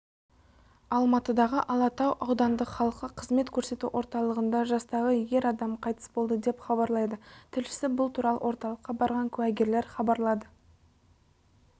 алматыдағы алатау аудандық халыққа қызмет көрсету орталығында жастағы ерадам қайтыс болды деп хабарлайды тілшісі бұл туралы орталыққа барған куәгерлер хабарлады